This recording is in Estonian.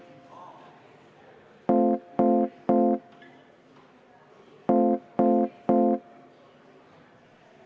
Katkestamise ettepanek ei leidnud toetust.